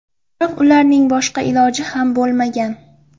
Biroq ularning boshqa iloji ham bo‘lmagan.